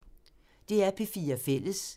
DR P4 Fælles